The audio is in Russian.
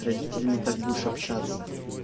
с родителями так будешь общаться